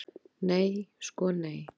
Nei sko nei.